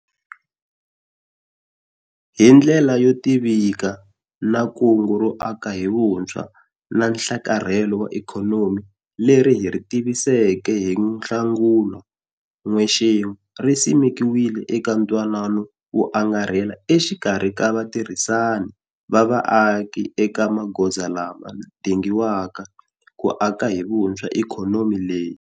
Hi ndlela yo tivikana, Kungu ro Aka hi Vuntshwa na Nhlakarhelo wa Ikhonomi leri hi ri tiviseke hi Nhlangula n'wexemu ri simekiwile eka ntwanano wo angarhela exikarhi ka vatirhisani va vaaki eka magoza lama dingiwaka ku aka hi vuntswha ikhonomi leyi.